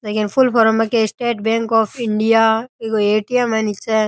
जकी के full form में के स्टेट बैंक ऑफ़ इंडिया इन्को ए.टी.एम. है नीचे।